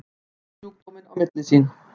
Geta menn borið sjúkdóminn sín á milli?